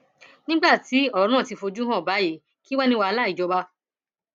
nígbà tí ọrọ ti fojú hàn báyìí kí wàá ní wàhálà ìjọba